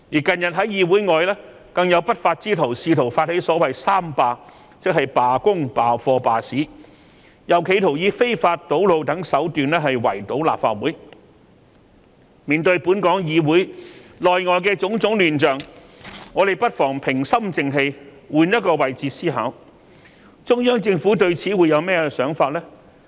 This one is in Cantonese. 近日，更有不法之徒發起所謂"三罷"，即罷工、罷課、罷市，又企圖以非法堵路等手段圍堵立法會，面對本港議會內外的種種亂象，我們不妨平心靜氣換個位置思考，中央政府對此會有甚麼想法呢？